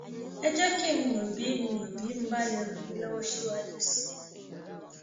ẹ jẹ kí n mọ bí n mọ bí mo bá lè ràn yín lọwọ síwájú sí i